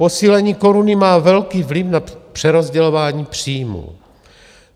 Posílení koruny má velký vliv na přerozdělování příjmů.